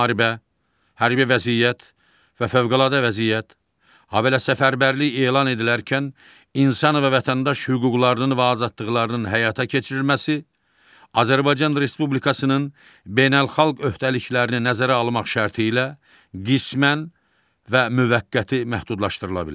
Müharibə, hərbi vəziyyət və fövqəladə vəziyyət, habelə səfərbərlik elan edilərkən insan və vətəndaş hüquqlarının və azadlıqlarının həyata keçirilməsi Azərbaycan Respublikasının beynəlxalq öhdəliklərini nəzərə almaq şərti ilə qismən və müvəqqəti məhdudlaşdırıla bilər.